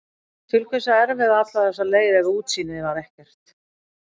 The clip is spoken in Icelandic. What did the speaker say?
Til hvers að erfiða alla þessa leið ef útsýnið var ekkert?